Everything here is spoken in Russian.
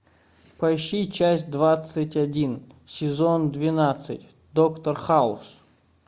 поищи часть двадцать один сезон двенадцать доктор хаус